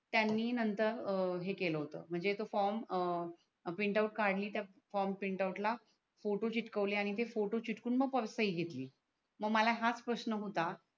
त्यांनी नंतर हे केल होत म्हणजे तो फॉर्म अं प्रिंटआउट काडली त्या फॉर्म प्रिंटआउट ला फोटो चिटकवले आणि ते फोटो चिटकवून मग परत सही घेतली मग मला हाच प्रशन होता